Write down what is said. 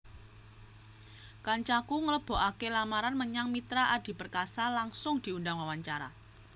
Kancaku nglebokake lamaran menyang Mitra Adi Perkasa langsung diundang wawancara